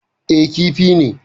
Eh, Kifi ne